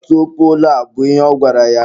Kwatuo poolu a! bụ ihe ọ gwara ya.